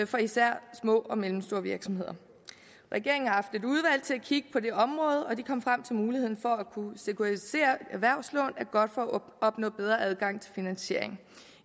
for især små og mellemstore virksomheder regeringen har haft et udvalg til at kigge på det område og de kom frem til at muligheden for at kunne sekuritisere erhvervslån er godt for at opnå bedre adgang til finansiering